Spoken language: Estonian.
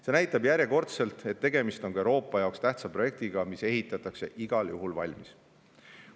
See näitab järjekordselt, et tegemist on ka Euroopa jaoks tähtsa projektiga ja ehitatakse igal juhul valmis.